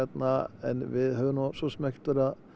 en við höfum nú svosem ekkert verið að